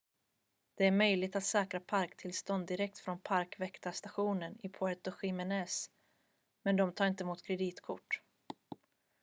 det är möjligt att säkra parktillstånd direkt från parkväktarstationen i puerto jiménez men de tar inte emot kreditkort